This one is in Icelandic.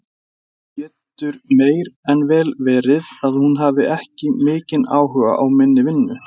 Það getur meir en vel verið að hún hafi ekki mikinn áhuga á minni vinnu.